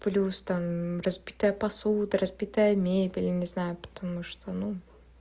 плюс там разбитая посуда разбитая мебель я не знаю потому что ну